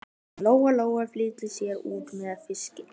Lóa Lóa flýtti sér út með fiskinn.